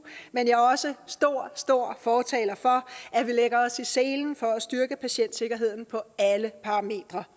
men jeg er også stor stor fortaler for at vi lægger os i selen for at styrke patientsikkerheden på alle parametre